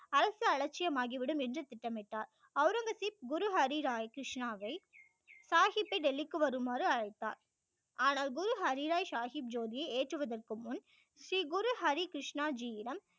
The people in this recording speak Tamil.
அரசு அலட்சியம் ஆகி விடும் என்று திட்டம் இட்டார் ஔரங்கசீப் குரு ஹரி ராய் கிருஷ்ணாவை சாகிப்பை டெல்லிக்கு வருமாறு அழைத்தார் ஆனால் குரு ஹரி ராய் சாகிப் ஜோதியை ஏற்றுவதற்கு முன் ஸ்ரீ குரு ஹரி கிருஷ்ணா ஜி யிடம்